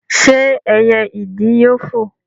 ṣé ẹyẹ ìdì yóò foò?